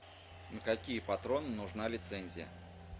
на какие патроны нужна лицензия